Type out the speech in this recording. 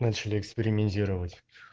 начали экспериментировать